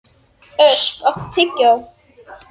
Þokurnar kæmu þegar heitur og kaldur straumur mættust.